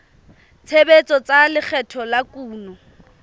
tshebetso tsa lekgetho la kuno